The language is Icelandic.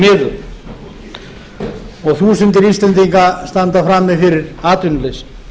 miður og þúsundir íslendinga standa frammi fyrir atvinnuleysi